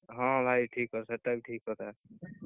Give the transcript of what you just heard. ହଁ, ଭାଇ ଠିକ ସେଇଟା ବି ଠିକ କଥା।